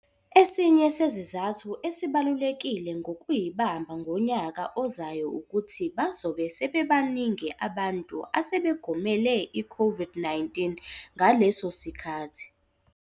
Esinye sezizathu esibalulekile sokuyibamba ngonyaka ozayo ukuthi bazobe sebebaningi abantu asebegomele iCOVID-19 ngaleso sikhathi.